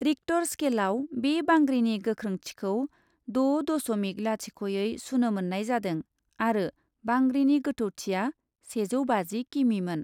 Richter स्केलआव बे बांग्रिनि गोख्रोंथिखौ द' दस'मिक लाथिख'यै सुनो मोन्नाय जादों आरो बांग्रिनि गोथौथिआ सेजौ बाजि किमिमोन ।